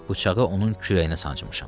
Bıçağı onun kürəyinə sancmışam.